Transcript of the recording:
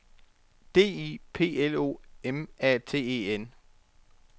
D I P L O M A T E N